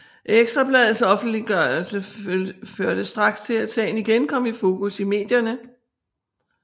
Ekstra Bladets offentliggørelse førte straks til at sagen igen kom i fokus i medierne